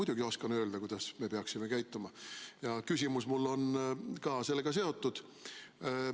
Mina muidugi oskan öelda, kuidas me peaksime käituma, ja küsimus on mul ka sellega seotud.